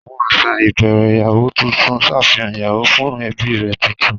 Àwọn àṣà ìbẹ̀rẹ̀ ìyàwó tuntun ṣàfihàn ìyàwó fún ẹbí rẹ̀ tuntun.